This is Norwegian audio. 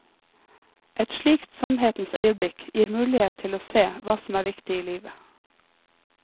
Et slikt sannhetens øyeblikk gir mulighet til å se hva som er viktig i livet.